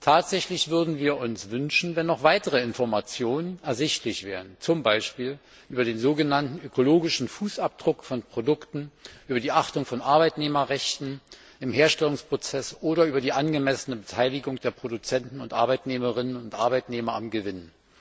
Tatsächlich würden wir uns wünschen, wenn noch weitere Informationen ersichtlich wären, zum Beispiel über den sogenannten ökologischen Fußabdruck von Produkten, über die Achtung von Arbeitnehmerrechten im Herstellungsprozess oder über die angemessene Beteiligung der Produzenten und Arbeitnehmerinnen und Arbeitnehmer am Gewinn.